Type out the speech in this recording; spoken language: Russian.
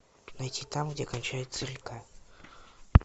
найти там где кончается река